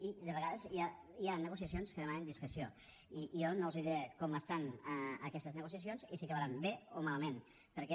i de vegades hi ha negociacions que demanem discreció i jo no els diré com estan aquestes negociacions i si acabaran bé o malament perquè